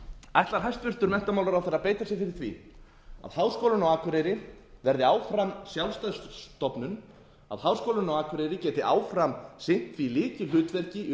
ætlar hæstvirtur menntamálaráðherra að beita sér fyrir því að háskólinn á akureyri verði áfram sjálfstæð stofnun að háskólinn á akureyri geti áfram sinnt því lykilhlutverki í